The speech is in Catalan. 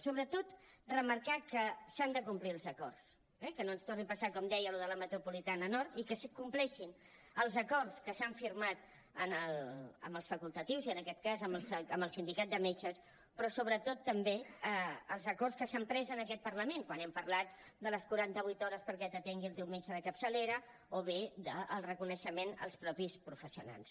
sobretot remarcar que s’han de complir els acords eh que no ens torni a passar com deia allò de la metropolitana nord i que es compleixin els acords que s’han firmat amb els facultatius i en aquest cas amb el sindicat de metges però sobretot també els acords que s’han pres en aquest parlament quan hem parlat de les quaranta vuit hores perquè t’atengui el teu metge de capçalera o bé del reconeixement dels mateixos professionals